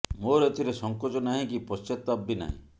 ମୋର ଏଥିରେ ସଂକୋଚ ନାହିଁ କି ପଶ୍ଚାତାପ ବି ନାହିଁ